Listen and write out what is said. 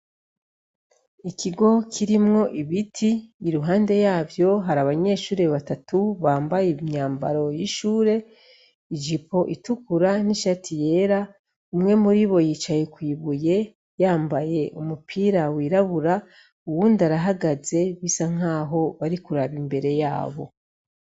Ikigo kirimwo ibiti , iruhande yavyo hari abanyeshure batatu bambaye imyambaro y'ishure , ijipo itukura n'ishati yera , umwe muribo yicaye kw'ibuye , yambaye umupira wirabura , uwundi arahagaze, bisa nkaho barikuraba imbere yabo